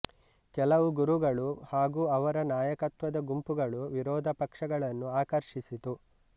ಕೆಲವು ಗುರುಗಳು ಹಾಗೂ ಅವರ ನಾಯಕತ್ವದ ಗುಂಪುಗಳು ವಿರೋಧ ಪಕ್ಷಗಳನ್ನು ಆಕರ್ಷಿಸಿತು